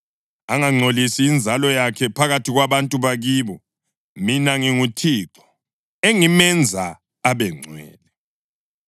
angangcolisi inzalo yakhe phakathi kwabantu bakibo. Mina nginguThixo engimenza abengcwele.’ ”